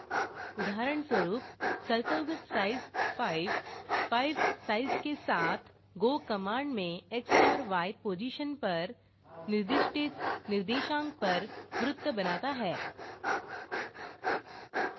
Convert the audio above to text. उदाहरणस्वरूप : circle with size 5 5 size के साथ go कमांड में x और y पोजिशन पर निर्दिष्टित निर्देशांक पर वृत्त बनाता है